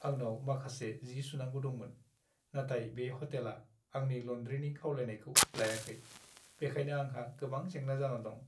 आंनाव माखासे जि सुनांगौ दंमोन, नाथाय बे ह'टेला आंनि ल'न्ड्रिनि खावलायनायखौ लायाखै, बेखायनो आंहा गोबां जेंना जाना दं।